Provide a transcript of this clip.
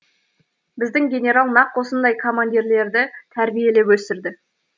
біздің генерал нақ осындай командирлерді тәрбиелеп өсірді